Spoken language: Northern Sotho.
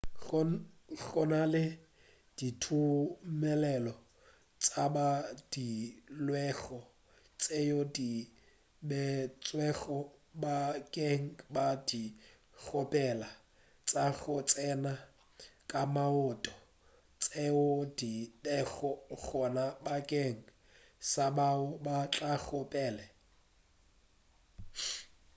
go na le ditumelelo tše badilwego tšeo di beetšwego bakeng sa dikgopelo tša go tsena ka maoto tšeo di bego gona bakeng sa bao ba tlago pele